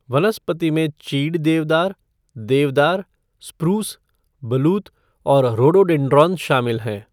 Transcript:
वनस्पति में चीड़ देवदार, देवदार, स्प्रूस, बलूत और रोडोडेंड्रॉन शामिल हैं।